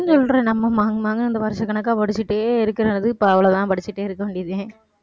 சொல்றேன் நம்ம மாங் மாங்குன்னு வருஷக்கணக்கா படிச்சிட்டே இருக்கிறனாலதான் இப்ப அவ்வளவுதான் படிச்சுட்டே இருக்க வேண்டியது தான்